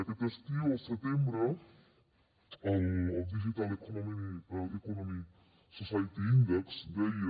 aquest estiu al setembre el digital economy and society index deia